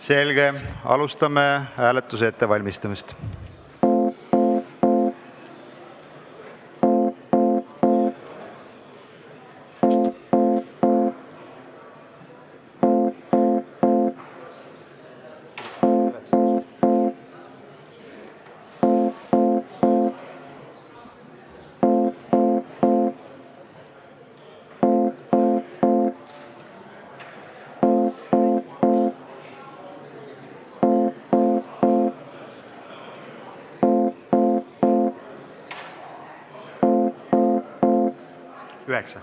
Selge, alustame hääletuse ettevalmistamist.